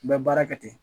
N bɛ baara kɛ ten